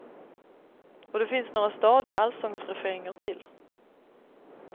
Och det finns några stadiga allsångsrefränger till.